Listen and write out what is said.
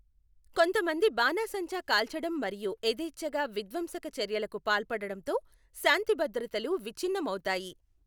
కొంతమంది బాణాసంచా కాల్చడం మరియు యథేచ్ఛగా విధ్వంసక చర్యలకు పాల్పడడంతో శాంతిభద్రతలు విచ్ఛిన్నమవుతాయి.